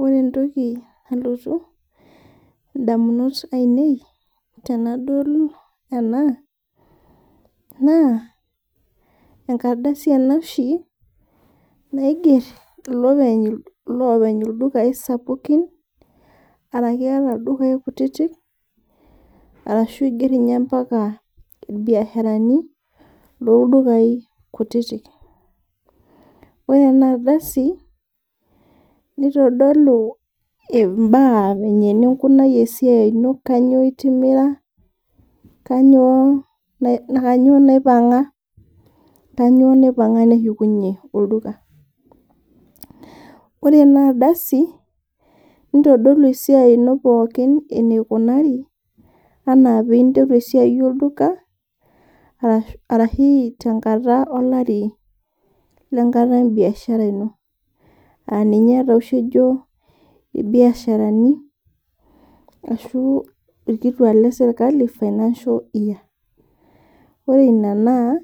Ore entoki nalotu ndamunot ainei tenadol ena, naa enkardasi ena oshi naiger loopeny looldukai sapukin ,orashu ildukai sapukin ,arashu eiger ninye mpaka irbiashrani looldukai kutitik. Ore ena ardasi nitodolu mbaa eninkunayie esiai ino kainyoo itimira naa kainyoo naipanga, kainyoo naipanga neshukunye olduka. Ore ena ardasi nitodolu esiai ino pookin enikunari ana pee interu esiai olduka ashu tolari lenkata embiashara ino. Aninye tooshi ejo irbiasharani ashu irkituak lesirkali financial year. Ore ina naa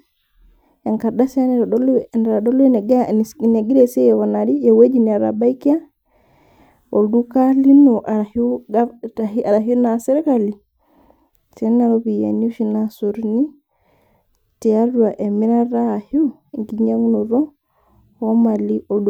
enkardasi naitodolu enegira esiai aikunari ,eweji netabaikia olduka lino ashu naaa sirkali too nena ropiyiani oshi naasotuni tiatua emirata ashu enkinyangunoto oomali.